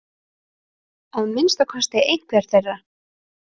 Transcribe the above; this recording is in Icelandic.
Að minnsta kosti einhver þeirra.